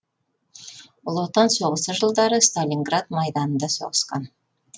ұлы отан соғысы жылдары сталинград майданында соғысқан